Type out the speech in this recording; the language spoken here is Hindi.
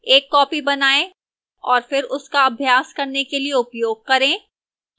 एक copy बनाएं और फिर उसका अभ्यास करने के लिए उपयोग करें